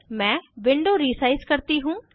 मैं window resize करती हूँ